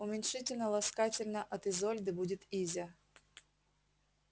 уменьшительно-ласкательно от изольды будет изя